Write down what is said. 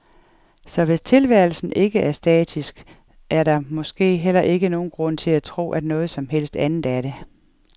Så hvis tilværelsen ikke er statisk, er der måske heller ikke nogen grund til at tro, at noget som helst andet er det.